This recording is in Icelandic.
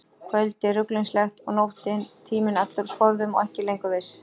Kvöldið ruglingslegt, og nóttin, tíminn allur úr skorðum og er ekki lengur viss.